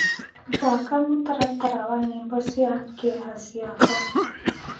thaka mũtaratara wa nyĩmbo cĩa kieha cĩakwa